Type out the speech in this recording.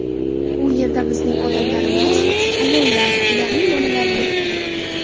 U yerda bizning odamlarimiz, ayollar, ularning bolalari yuribdi.